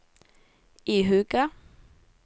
ihuga